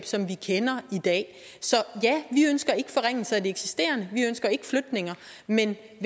som vi kender i dag så ja vi ønsker ikke forringelser af de eksisterende vi ønsker ikke flytninger men